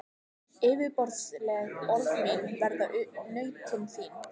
Yfirborðsleg orð mín verða nautn þín.